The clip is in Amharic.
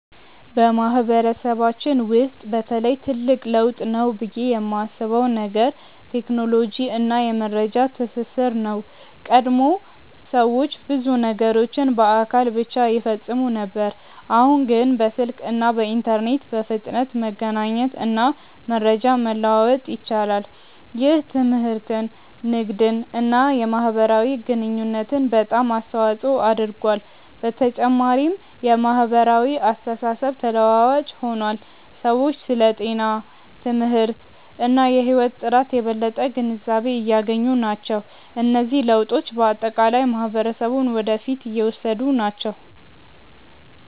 በማህበረሰባችን ውስጥ በተለይ ትልቅ ለውጥ ነው ብዬ የማስበው ነገር ቴክኖሎጂ እና የመረጃ ትስስር ነው። ቀድሞ ሰዎች ብዙ ነገሮችን በአካል ብቻ ይፈጽሙ ነበር፣ አሁን ግን በስልክ እና በኢንተርኔት በፍጥነት መገናኘት እና መረጃ መለዋወጥ ይችላሉ። ይህ ትምህርትን፣ ንግድን እና የማህበራዊ ግንኙነትን በጣም አስተዋፅኦ አድርጓል። በተጨማሪም የማህበራዊ አስተሳሰብ ተለዋዋጭ ሆኗል፤ ሰዎች ስለ ጤና፣ ትምህርት እና የህይወት ጥራት የበለጠ ግንዛቤ እያገኙ ናቸው። እነዚህ ለውጦች በአጠቃላይ ማህበረሰቡን ወደ ፊት እየወሰዱ ናቸው።